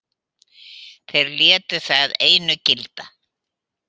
Þeir létu það einu gilda.